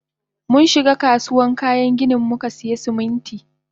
Munshiga kasuwan kayan ginin mukasiya Siminti.